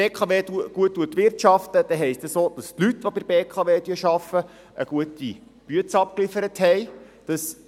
Wenn die BKW gut wirtschaftet, heisst dies auch, dass die Leute, die bei der BKW arbeiten, eine gute Arbeit geliefert haben.